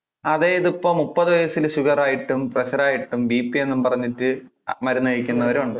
അതെ ഇത് ഇപ്പൊ മുപ്പതു വയസില് sugar ആയിട്ടും pressure ആയിട്ടും bp പറഞ്ഞിട്ട് മരുന്ന് കഴിക്കുന്നവരും ഉണ്ട്.